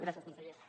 gràcies consellera